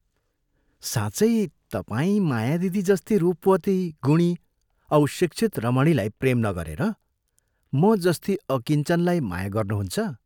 साँचै तपाई माया दिदी जस्ती रुपवती, गुणी औ शिक्षित रमणीलाई प्रेम नगरेर म जस्ती अकिञ्चनलाई माया गर्नुहुन्छ?